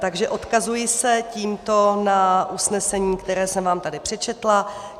Takže odkazuji se tímto na usnesení, které jsem vám tady přečetla.